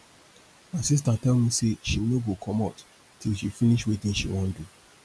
my sister tell me say she no go comot till she finish wetin she wan do